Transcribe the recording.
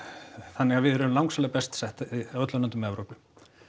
þannig að við erum langsamlega best sett af öllum löndum Evrópu